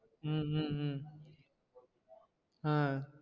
ஹம் உம் ஹம் ஆஹ்